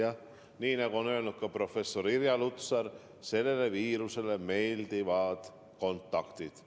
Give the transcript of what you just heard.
Jah, nii nagu on öelnud ka professor Irja Lutsar, sellele viirusele meeldivad kontaktid.